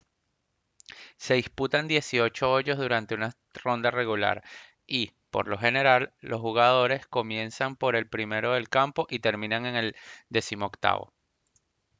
se disputan dieciocho hoyos durante una ronda regular y por lo general los jugadores comienzan por el primero del campo y terminan en el decimoctavo